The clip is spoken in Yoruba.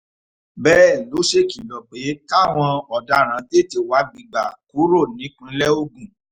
bẹ́ẹ̀ ló ṣèkìlọ̀ pé káwọn ọ̀daràn tètè wábi gbà kúrò nípìnlẹ̀ ogun